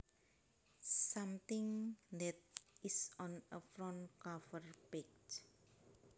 Something that is on a front cover page